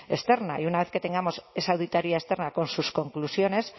externa y una vez que tengamos esa auditoría externa con sus conclusiones